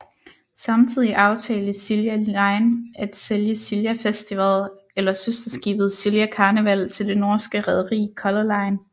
Samtidigt aftalte Silja Line at sælge Silja Festival eller søsterskibet Silja Karneval til det norske rederi Color Line